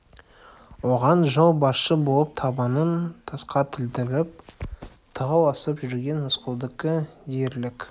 оған жол басшы болып табанын тасқа тілдіріп тау асып жүрген рысқұлдікі де ерлік